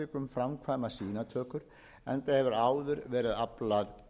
framkvæma sýnatökur enda hefur áður verið aflað innflutningsleyfis